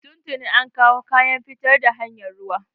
Tun tuni an kawo kayan fitar da hanyar ruwa.